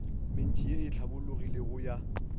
mentši ye e hlabologilego ya